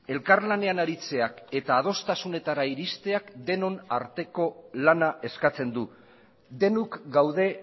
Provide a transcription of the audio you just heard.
elkarlanean aritzeak eta adostasunetara iristeak denon arteko lana eskatzen du denok gaude